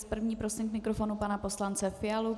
S první prosím k mikrofonu pana poslance Fialu.